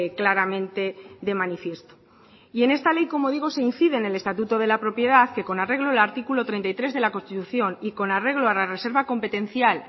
claramente de manifiesto y en esta ley como digo se incide en el estatuto de la propiedad que con arreglo al artículo treinta y tres de la constitución y con arreglo a la reserva competencial